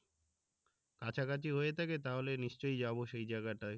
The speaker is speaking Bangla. কাছাকাছি হয়ে থাকে তাহলে নিশ্চয়ই যাবো সেই জায়গাটায়